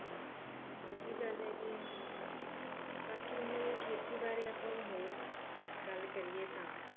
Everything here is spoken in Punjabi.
ਇੱਕ ਉਹ ਵੀ ਗੱਲ ਹੈਗੀ ਆ ਬਾਕੀ ਹੁਣ ਖੇਤੀ ਬਾਰੇ ਆਪਾਂ ਹੋਰ ਗੱਲ ਕਰੀਏ ਤਾਂ